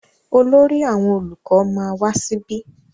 Olórí àwọn olùkọ ma wá síbí.